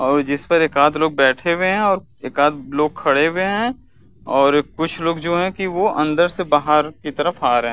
और जिस पर एकाद लोग बैठे हुए हैं और एकाद लोग खड़े हुए हैं और कुछ लोग जो हैं की वो अंदर से बाहर की तरफ आ रहे हैं।